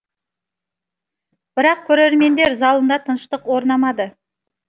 бірақ көрермендер залында тыныштық орнамады